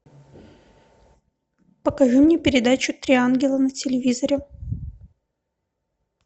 покажи мне передачу три ангела на телевизоре